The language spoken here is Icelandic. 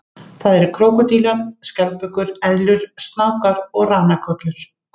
Það eru krókódílar, skjaldbökur, eðlur, snákar og ranakollur.